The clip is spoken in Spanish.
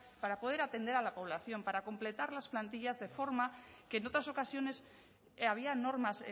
para poder atender a la población para completar las plantillas de forma que en otras ocasiones había normas